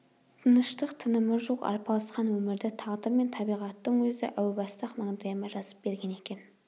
тыныштық-тынымы жоқ арпалысқан өмірді тағдыр мен табиғаттың өзі әу баста-ақ маңдайыма жазып берген екен